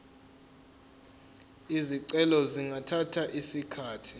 izicelo zingathatha isikhathi